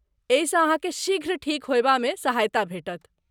एहिसँ अहाँकेँ शीघ्र ठीक होयबामे सहायता भेटत।